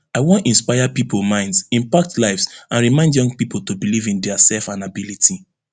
i wan inspire pipo minds impact lives and remind young pipo to believe in dia self and ability